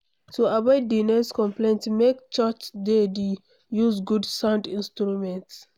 To avoid di noise conplaints make churchs de de use good sound instruments